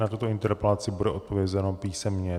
Na tuto interpelaci bude odpovězeno písemně.